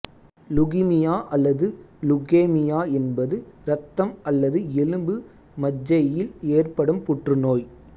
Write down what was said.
leukaemia அல்லது leukaemia என்பது இரத்தம் அல்லது எலும்பு மஜ்ஜையில் ஏற்படும் புற்றுநோய்